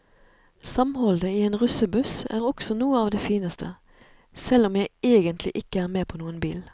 Samholdet i en russebuss er også noe av det fineste, selv om jeg egentlig ikke er med på noen bil.